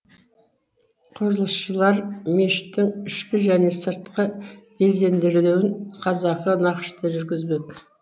құрылысшылар мешіттің ішкі және сыртқы безендірілуін қазақы нақышта жүргізбек